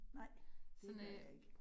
Nej, det gør jeg ikke